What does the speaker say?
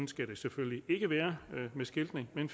skal det selvfølgelig ikke være med skiltning men